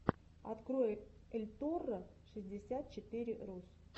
открой эльторро шестьдесят четыре рус